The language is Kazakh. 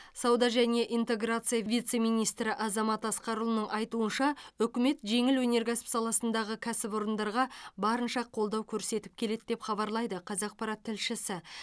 сауда және интеграция вице министрі азамат асқарұлының айтуынша үкімет жеңіл өнеркәсіп саласындағы кәсіпорындарға барынша қолдау көрсетіп келеді деп хабарлайды қазақпарат тілшісі